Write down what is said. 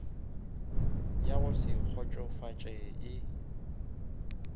ya go se kgotšofatše e